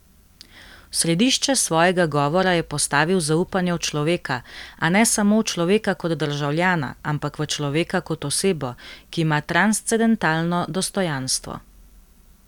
V središče svojega govora je postavil zaupanje v človeka, a ne samo v človeka kot državljana, ampak v človeka kot osebo, ki ima transcendentalno dostojanstvo.